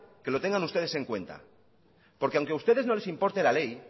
que lo tengan ustedes en cuenta porque aunque a ustedes no les importe la ley